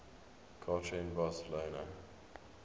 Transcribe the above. culture in barcelona